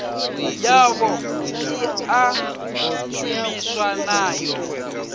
yavho i ḓo shumiwa nayo